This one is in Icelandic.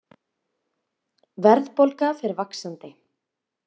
Verðbólga fer vaxandi